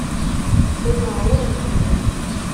оао ржд